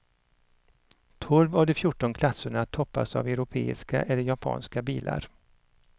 Tolv av de fjorton klasserna toppas av europeiska eller japanska bilar.